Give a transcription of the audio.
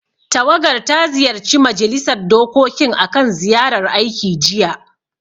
Tawagar ta ziyarci Majilisar dokokin akan ziyarar aiki, jiya.